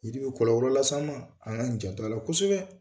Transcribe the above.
Yiri bi kɔlɔlɔ las'an ma? An ka janto a la kosɛbɛ.